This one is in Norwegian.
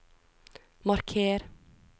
marker